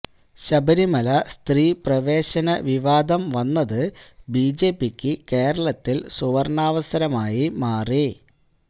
ശബരിമല സ്ത്രീ പ്രവേശന വിവാദം വന്നത് ബിജെപിക്ക് കേരളത്തില് സുവര്ണാവസരമായി മാറി